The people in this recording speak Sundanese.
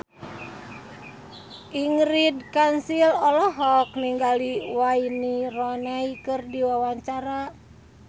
Ingrid Kansil olohok ningali Wayne Rooney keur diwawancara